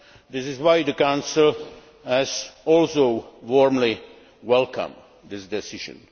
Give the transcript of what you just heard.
This is why the Council has also warmly welcomed this decision.